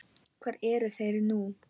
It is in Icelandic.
Hvar eru þeir nú?